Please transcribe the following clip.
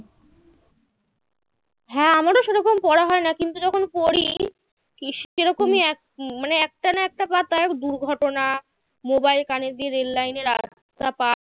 হ্যাঁ আমারও সে রকম পড়া হয় না কিন্তু যখন পড়ি সে রকমই এক মানে একটা না একটা পাতায় দুর্ঘটনা mobile কানে দিয়ে রেল লাইনে রাস্তা পার